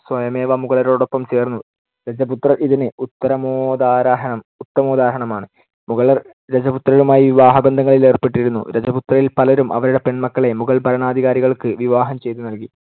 സ്വയമേവ മുഗളരോടൊപ്പം ചേർന്നു. രജപുത്രർ ഇതിന്‌ ഉത്തരമോദാഹര~ ഉത്തമോദാഹരണമാണ്‌. മുഗളർ രജപുത്രരുമായി വിവാഹബന്ധങ്ങളിൽ ഏർപ്പെട്ടിരുന്നു. രജപുത്രരിൽ പലരും അവരുടെ പെൺമക്കളെ മുഗൾ ഭരണാധികാരികൾക്ക് വിവാഹം ചെയ്തു നൽകി.